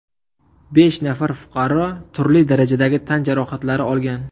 Besh nafar fuqaro turli darajadagi tan jarohatlari olgan.